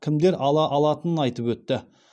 кімдер ала алатынын айтып өтті